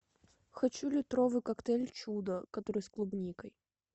хочу литровый коктейль чудо который с клубникой